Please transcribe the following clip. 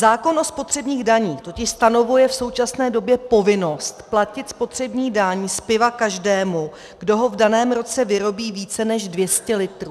Zákon o spotřebních daních totiž stanovuje v současné době povinnost platit spotřební daň z piva každému, kdo ho v daném roce vyrobí více než 200 litrů.